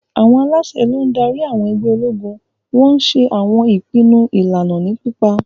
Àwọn aláṣẹ ló ń darí àwọn ẹgbẹ́ ológun, wọ́n ń ṣe àwọn ìpinnu ìlànà ní pápá.